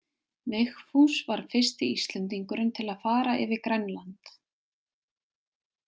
Vigfús var fyrsti Íslendingurinn til að fara yfir Grænland.